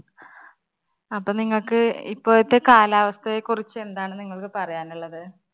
അപ്പോ നിങ്ങക്ക് ഇപ്പോഴത്തെ കാലാവസ്ഥയെ കുറിച്ച് എന്താണ് നിങ്ങള്‍ക്ക് പറയാനുള്ളത്?